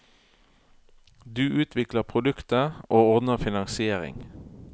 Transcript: Du utvikler produktet, og ordner finansiering.